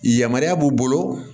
Yamaruya b'u bolo